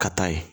Ka taa ye